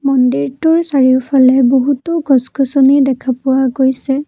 মন্দিৰটোৰ চাৰিওফালে বহুতো গছ গছনি দেখা পোৱা গৈছে।